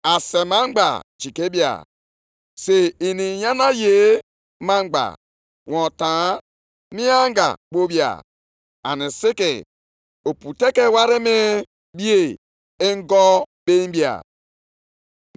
Aga m ayọgharịkwa mba niile; ihe mba niile na-achọsi ike ga-abịa. Aga m eme ka ụlọ a jupụta nʼebube,’ ọ bụ ihe Onyenwe anyị, Onye pụrụ ime ihe niile kwuru.